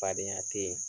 Fadenya teyi